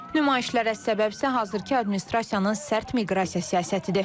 Nümayişlərə səbəbsə hazırki administrasiyanın sərt miqrasiya siyasətidir.